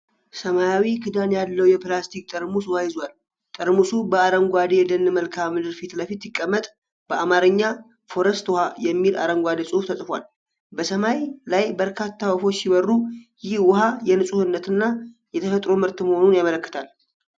ሰማያዊ ክዳን ያለው የፕላስቲክ ጠርሙስ ውሃ ይዟል። ጠርሙሱ በአረንጓዴ የደን መልክዓ ምድር ፊትለፊት ሲቀመጥ፣ በአማርኛ "ፎረስት ውሃ" የሚል አረንጓዴ ጽሑፍ ተጽፏል። በሰማይ ላይ በርካታ ወፎች ሲበሩ፣ ይህ ውሃ የንፁህነት እና የተፈጥሮ ምርት መሆኑን ያመለክታልን?